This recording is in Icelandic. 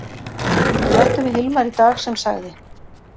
Við ræddum við Hilmar í dag sem sagði: